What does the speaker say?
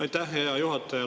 Aitäh, hea juhataja!